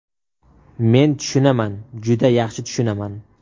Men tushunaman, juda yaxshi tushunaman.